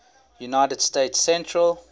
united states central